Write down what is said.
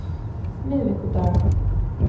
miðvikudaga